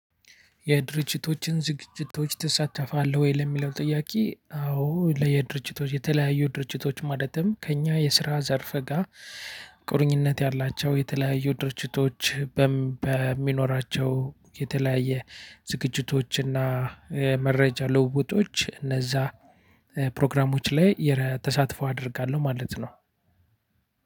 የድርጅቶችን ዝግጅቶችን ትሳተፋለህ ወይ ለሚለው ጥያቄ? አዎ ለየድርጅቶች የተለያዩ ድርጅቶች ማለትም ከእኛ የስራ ዘርፍ ጋር ቁርኝነት ያላቸው የተለያዩ ድርጅቶች በሚኖራቸው የተለያየ ዝግጅቶችና መረጃ ልውጦች እነዛ ፕሮግራሞች ላይ የተሳትፎ አደርጋለሁ ማለት ነው።